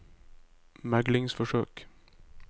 meglingsforsøk